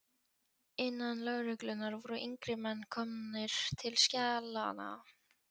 Innan lögreglunnar voru yngri menn komnir til skjalanna.